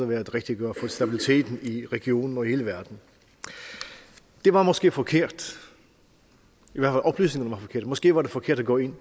være det rigtige at gøre for stabiliteten i regionen og i hele verden det var måske forkert oplysningerne forkerte måske var det forkert at gå ind